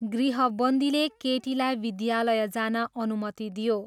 गृहबन्दीले केटीलाई विद्यालय जान अनुमति दियो।